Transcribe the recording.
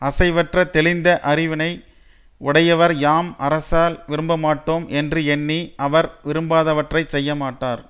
அசைவற்ற தெளிந்த அறிவினை உடையவர் யாம் அரசரால் விரும்பப்பட்டோம் என்று எண்ணி அவர் விரும்பாதவற்றை செய்யமாட்டார்